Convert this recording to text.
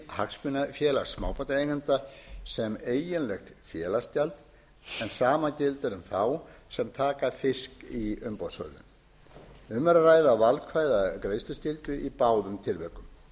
hagsmunafélaga smábátaeigenda sem eiginlegt félagsgjald en sama gildir um þá sem taka fisk í umboðssölu um er að ræða valkvæða greiðsluskyldu í báðum tilvikum